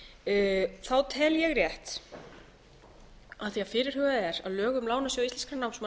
fyrir styrkþega tel ég rétt af því að fyrirhugað er að lög um lánasjóð íslenskra námsmanna verði